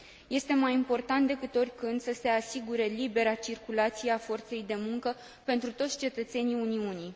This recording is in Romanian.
Este mai important decât oricând să se asigure libera circulație a forței de muncă pentru toți cetățenii Uniunii.